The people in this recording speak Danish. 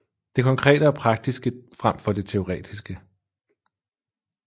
Det konkrete og praktiske frem for det teoretiske